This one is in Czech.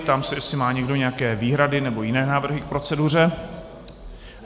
Ptám se, jestli má někdo nějaké výhrady nebo jiné návrhy k proceduře.